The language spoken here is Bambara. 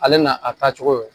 Ale na a taa cogo ye